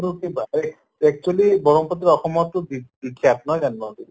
তো কি actually ব্ৰহ্মপুত্ৰ অসমততো বি বিখ্য়াত নহয় জানো